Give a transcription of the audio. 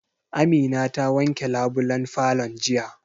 Amina ta wanke labulen falon jiya